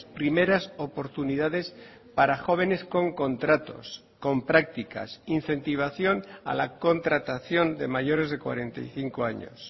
primeras oportunidades para jóvenes con contratos con prácticas incentivación a la contratación de mayores de cuarenta y cinco años